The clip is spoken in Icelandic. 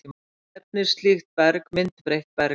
Nefnist slíkt berg myndbreytt berg.